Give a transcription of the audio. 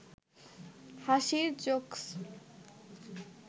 হাসির জোকস্